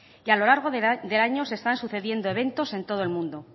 y a lo largo del año se están sucediendo eventos en todo el mundo